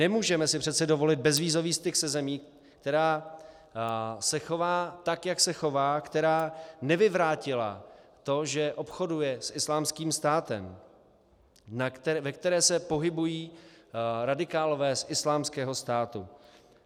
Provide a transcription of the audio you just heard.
Nemůžeme si přece dovolit bezvízový styk se zemí, která se chová tak, jak se chová, která nevyvrátila to, že obchoduje s Islámským státem, ve které se pohybují radikálové z Islámského státu.